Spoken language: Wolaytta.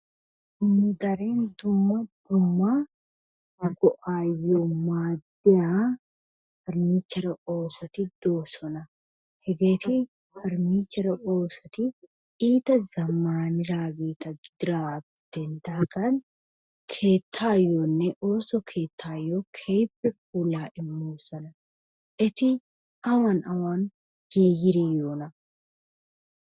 Darin dumma dumma go'aayyo maaddiya perniichchere oosoti doosona. Hegeeti perniichchere oosoti iita zammanidaageeta gididaagaappe denddidaagan keettaayyoonne ooso keettaayo keehippe puulaa immoosona. Eti awan awan giigidi yiyoonaa?